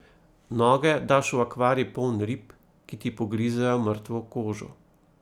Noge daš v akvarij poln rib, ki ti pogrizejo mrtvo kožo.